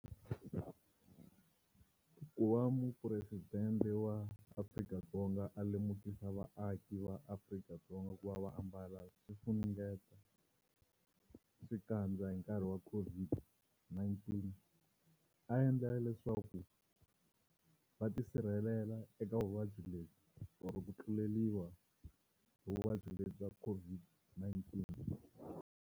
Ku va mupresidente wa Afrika-Dzonga a lemukisa vaaki va Afrika-Dzonga ku va va ambala swifunengeta xikandza hi nkarhi wa ku COVID-19 a endlela leswaku va tisirhelela eka vuvabyi lebyi or ku tluleriwa hi vuvabyi lebyi bya COVID-19.